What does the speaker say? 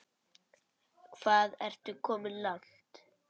Hvað ertu komin langt?